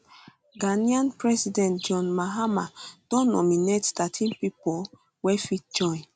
ghanaian president john mahama don nominate thirteen pipo wey fit join